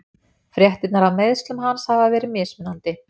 Fréttirnar af meiðslum hans hafa verið mismunandi.